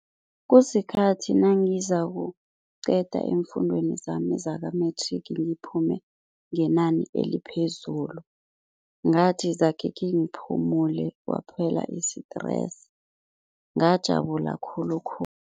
Kusikhathi nangizakuqeda eemfundweni zami zaka-matric ngiphume ngenani eliphezulu, ngathi zakhe khengiphumule, kwaphela i-stress ngajabula khulukhulu.